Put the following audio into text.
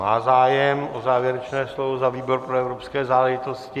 Má zájem o závěrečné slovo za výbor pro evropské záležitosti.